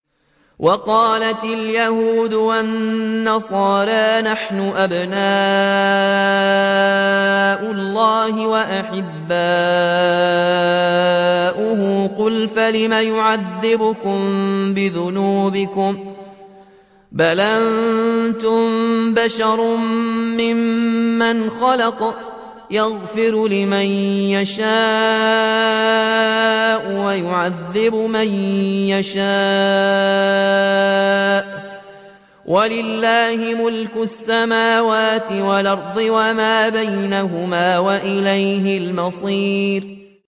وَقَالَتِ الْيَهُودُ وَالنَّصَارَىٰ نَحْنُ أَبْنَاءُ اللَّهِ وَأَحِبَّاؤُهُ ۚ قُلْ فَلِمَ يُعَذِّبُكُم بِذُنُوبِكُم ۖ بَلْ أَنتُم بَشَرٌ مِّمَّنْ خَلَقَ ۚ يَغْفِرُ لِمَن يَشَاءُ وَيُعَذِّبُ مَن يَشَاءُ ۚ وَلِلَّهِ مُلْكُ السَّمَاوَاتِ وَالْأَرْضِ وَمَا بَيْنَهُمَا ۖ وَإِلَيْهِ الْمَصِيرُ